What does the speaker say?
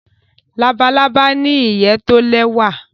Labalábá ní ìyè to lẹwa